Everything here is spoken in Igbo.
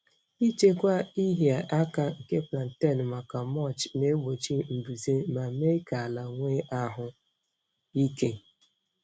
Ichekwa ịhịa aka nke plantain maka mulch na-egbochi mbuze ma mee ka ala nwee ahụ ike.